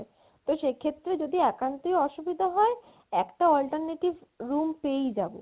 তো সেক্ষেত্রে যদি একান্তই অসুবিধা হয় একটা alternative room পেয়েই যাবো